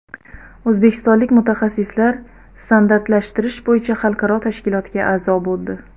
O‘zbekistonlik mutaxassislar standartlashtirish bo‘yicha xalqaro tashkilotga a’zo bo‘ldi.